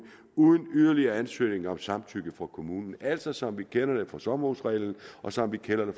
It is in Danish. uden yderligere ansøgninger om samtykke fra kommunen altså som vi kender det fra sommerhusreglen og som vi kender